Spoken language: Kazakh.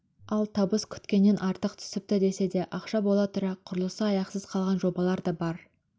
ал табыс күткеннен артық түсіпті десе де ақша бола тұра құрылысы аяқсыз қалған жобалар да бар